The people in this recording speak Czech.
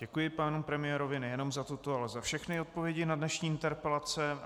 Děkuji panu premiérovi nejenom za tuto, ale za všechny odpovědi na dnešní interpelace.